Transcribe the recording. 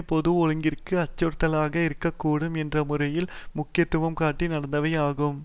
பொது ஒழுங்கிற்கு அச்சுறுத்தலாக இருக்க கூடும் என்ற முறையில் முக்கியத்துவம் காட்டி நடந்தவை ஆகும்